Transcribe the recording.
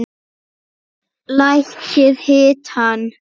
Lækkið hitann.